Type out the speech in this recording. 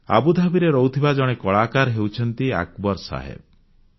ଆବୁଧାବିରେ ରହୁଥିବା ଜଣେ କଳାକାର ହେଉଛନ୍ତି ଆକବର ସାହେବ୍